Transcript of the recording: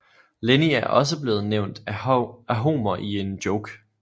Lenny er også blevet nævnt af Homer i en joke